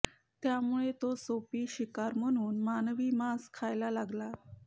त्यामुळे तो सोपी शिकार म्हणून मानवी मांस खायला लागला